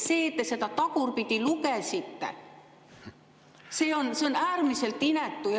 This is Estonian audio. See, et te seda tagurpidi lugesite, on äärmiselt inetu.